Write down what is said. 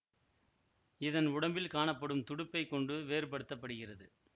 இதன் உடம்பில் காணப்படும் துடுப்பைக் கொண்டு வேறுபடுத்தப்படுகிறது